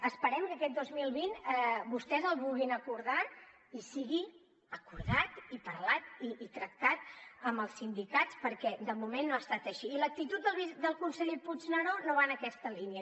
esperem que aquest dos mil vint vostès el vulguin acordar i sigui acordat i parlat i tractat amb els sindicats perquè de moment no ha estat així i l’actitud del conseller puigneró no va en aquesta línia